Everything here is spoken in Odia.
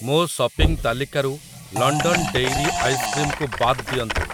ମୋ ସପିଂ ତାଲିକାରୁ ଲଣ୍ଡନ୍ ଡେଇରୀ ଆଇସ୍କ୍ରିମ୍ କୁ ବାଦ୍ ଦିଅନ୍ତୁ ।